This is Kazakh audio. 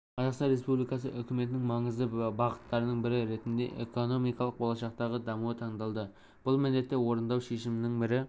қазақстан республикасы үкіметінің маңызды бағыттарының бірі ретінде экономиканың болашақтағы дамуы таңдалды бұл міндетті орындау шешімінің бір